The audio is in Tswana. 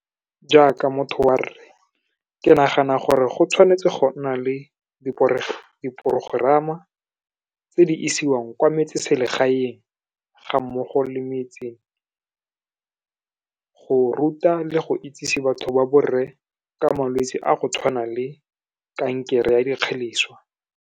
Jaaka motho wa rre, ke nagana gore go tshwanetse go nna le diprogerama tse di isiwang kwa metseselegaeng, ga mmogo le metse, go ruta le go itsise batho ba borre ka malwetse a go tshwana le kankere ya dikgeleswa.